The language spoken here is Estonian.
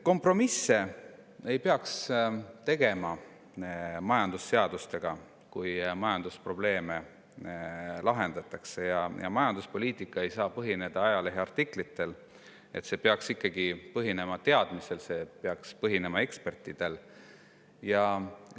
Ei peaks tegema kompromisse majandusseadustega, kui majandusprobleeme lahendatakse, ja majanduspoliitika ei saa põhineda ajaleheartiklitel, see peaks ikkagi põhinema teadmistel, see peaks põhinema ekspertide.